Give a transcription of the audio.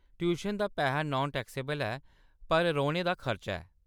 Tuition दा पैहा non taxable ऐ, पर रौह्‌‌‌ने दा खर्चा ऐ।